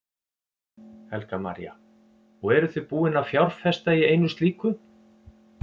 Helga María: Og eruð þið búin að fjárfesta í einu slíku?